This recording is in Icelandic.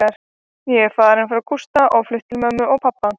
Ég var farin frá Gústa og flutt til mömmu og pabba.